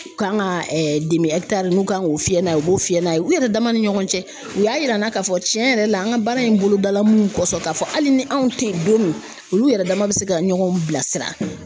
U kan ka n'u kan k'u fiyɛ n'a ye u b'o fiyɛ n'a ye, u yɛrɛ dama ni ɲɔgɔn cɛ u y'a yir'an na k'a fɔ tiɲɛ yɛrɛ la an ka baara in bolodala munnu kɔsɔn k'a fɔ hali ni anw tɛ yen don min, olu yɛrɛ dama bɛ se ka ɲɔgɔn bilasira.